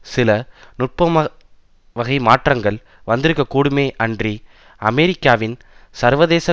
சில நுட்பமானவகை மாற்றங்கள் வந்திருக்கக் கூடுமே அன்றி அமெரிக்காவின் சர்வதேச